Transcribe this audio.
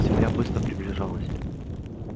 земля быстро приближалась